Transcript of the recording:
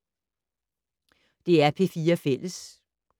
DR P4 Fælles